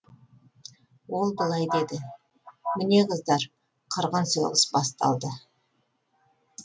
ол былай деді міне қыздар қырғын соғыс басталды